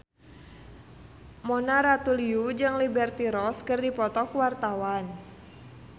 Mona Ratuliu jeung Liberty Ross keur dipoto ku wartawan